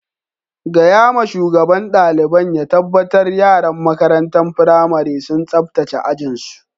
Gaya ma shugaban dalibain ya tabatar yaran makarantan firamarin sun sabtace ajin su.